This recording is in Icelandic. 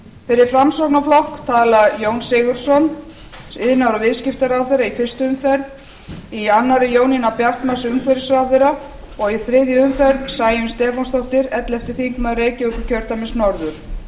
fyrir framsóknarflokk tala jón sigurðsson iðnaðar og viðskiptaráðherra í fyrstu umferð í annarri jónína bjartmarz umhverfisráðherra og í þriðju umferð sæunn stefánsdóttir ellefti þingmaður reykjavíkurkjördæmis norður